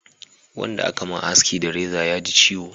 Wanda a ka ma haski da reza ya ji ciwo